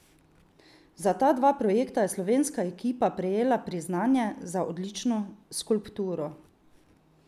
Za ta dva projekta je slovenska ekipa prejela priznanje za odlično skulpturo.